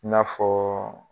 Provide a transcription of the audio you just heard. I N'a fɔ